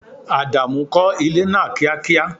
Ádámù kò ilé náà kíá kíá!